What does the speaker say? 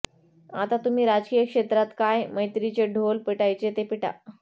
आता तुम्ही राजकीय क्षेत्रात काय मैत्रीचे ढोल पिटायचे ते पिटा